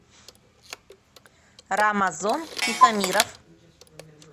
рамазон тихомиров